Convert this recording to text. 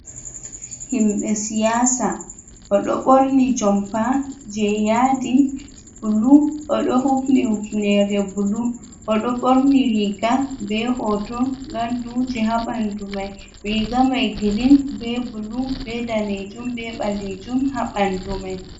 Himbe siyasa o ɗo borni jompa je yadi bulu oɗo hufni hufnere bulu, oɗo ɓorni riga be hoto gandu je, ha ɓandu mai, riga mai girin be bulu be danejum, be ɓalejum ha ɓandu mai.